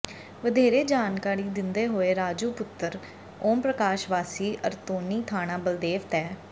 ਵਧੇਰੇ ਜਾਣਕਾਰੀ ਦਿੰਦੇ ਹੋਏ ਰਾਜੂ ਪੁੱਤਰ ਓਮ ਪ੍ਰਕਾਸ਼ ਵਾਸੀ ਅਰਤੋਨੀ ਥਾਣਾ ਬਲਦੇਵ ਤਹਿ